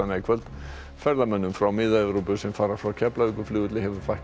í kvöld ferðamönnum frá Mið Evrópu sem fara frá Keflavíkurflugvelli hefur fækkað